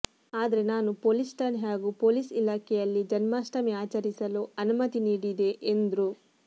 ಆದ್ರೆ ನಾನು ಪೊಲೀಸ್ ಠಾಣೆ ಹಾಗೂ ಪೊಲೀಸ್ ಇಲಾಖೆಯಲ್ಲಿ ಜನ್ಮಾಷ್ಠಮಿ ಆಚರಿಸಲು ಅನುಮತಿ ನೀಡಿದೆ ಎಂದ್ರು